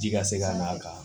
Ji ka se ka n'a kan